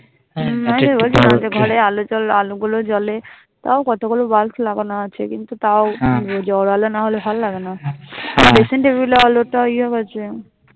ওটাই তো বলছি কালকে ঘরে আল জাল আলো গুলো জলে তাও কতগুলো Bulb লাগানো আছে কিন্তু তাও জোরআলো না হলে ভাল লাগে না আলোটা ইয়ে আছে